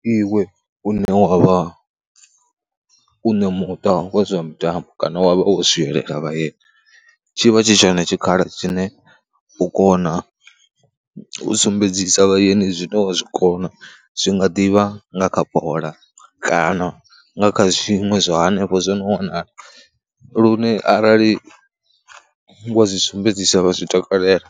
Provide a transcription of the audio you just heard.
Ndi iwe une wa vha u na muṱa wa zwa mitambo kana wa vha wo swielela vhaeni, tshi vha tshi tshoen tshikhala tshine u kona u sumbedzisa vhaeni zwine wa zwi kona. Zwi nga ḓi vha nga kha bola kana nga kha zwiṅwe zwa hanefho zwo no wanala lune arali wa zwi sumbedziswa vha zwi takalela